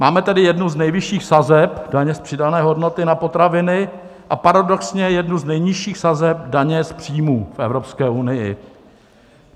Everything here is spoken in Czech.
Máme tedy jednu z nejvyšších sazeb daně z přidané hodnoty na potraviny a paradoxně jednu z nejnižších sazeb daně z příjmů v Evropské unii.